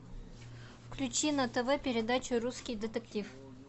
включи на тв передачу русский детектив